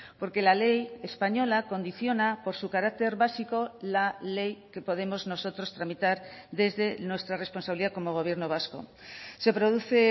porque la ley española condiciona por su carácter básico la ley que podemos nosotros tramitar desde nuestra responsabilidad como gobierno vasco se produce